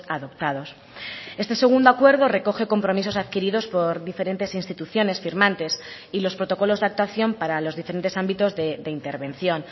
adoptados este segundo acuerdo recoge compromisos adquiridos por diferentes instituciones firmantes y los protocolos de actuación para los diferentes ámbitos de intervención